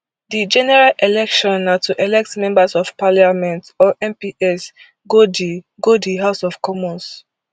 di general election na to elect members of parliament or mps go di go di house of commons